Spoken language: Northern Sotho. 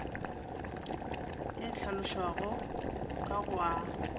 e hlalošwago ka go a